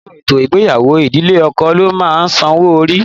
Nínú ètò ìgbéyàwó, ìdílé ọkọ ló máa ń sanwó orí.